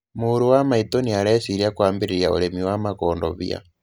Mũrũ wa maitũ nĩ areciria kwambĩriria urĩmi wa makondobĩa